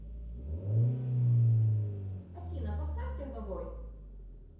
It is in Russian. афина поставь терновой